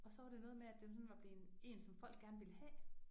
Og så var det noget med at den sådan var blevet en som folk gerne ville have